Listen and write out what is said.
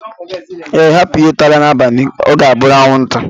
Ee, hapu ihe tara n'abalị ga obụrụ anwụnta